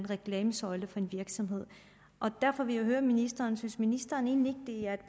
reklamesøjle for en virksomhed derfor vil jeg høre ministeren synes ministeren egentlig ikke at det